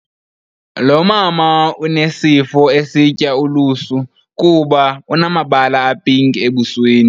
Lo mama unesifo esitya ulusu kuba unamabala apinki abusweni.